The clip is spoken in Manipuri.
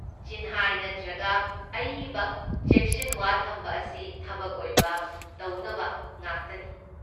ꯆꯤꯟꯍꯥꯏ ꯅꯠꯇ꯭ꯔꯒ ꯑꯏꯕ ꯆꯦꯛꯁꯤꯟꯋꯥ ꯊꯝꯕ ꯑꯁꯤ ꯊꯕꯛ ꯑꯣꯏꯕ ꯇꯧꯅꯕ ꯉꯥꯛꯇꯅꯤ꯫